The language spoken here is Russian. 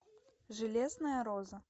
железная роза